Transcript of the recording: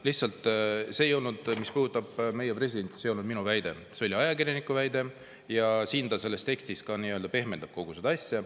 Lihtsalt, see mis puudutab meie presidenti, ei olnud minu väide, see oli ajakirjaniku väide ja ta selles tekstis pehmendab kogu seda asja.